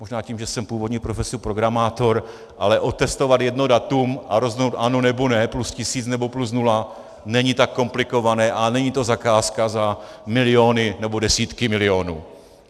Možná tím, že jsem původní profesí programátor, ale otestovat jedno datum a rozhodnout ano, nebo ne, plus tisíc, nebo plus nula, není tak komplikované a není to zakázka za miliony nebo desítky milionů.